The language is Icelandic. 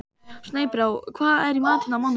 Snæbrá, hvað er í matinn á mánudaginn?